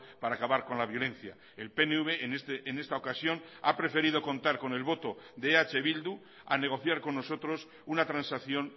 para acabar con la violencia el pnv en esta ocasión ha preferido contar con el voto de eh bildu a negociar con nosotros una transacción